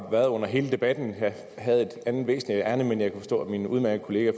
her under hele debatten jeg havde et andet væsentligt ærinde men jeg kunne forstå at min udmærkede kollega